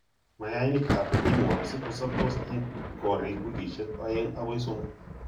Mayainik ab pinworms kosobtos eng koriik wikisiek oeng' akoi somok